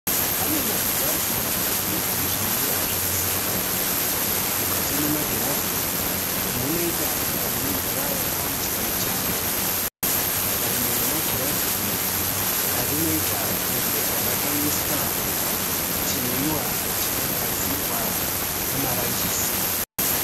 Pane magirazi matatu ane zvinwiwa zvakasiyana. Mukati memagirazi umu munoita kunga mune mvura yakaomeswa nechando. Rimwe remagirazi iyi rinoita kunga rakaiswa chinwiwa chagadzirwa nemaranjisi.